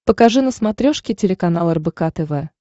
покажи на смотрешке телеканал рбк тв